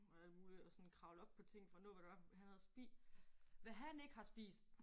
Og alt muligt og sådan kravle op på ting for at nå hvad det var han havde spist. Hvad han ikke har spist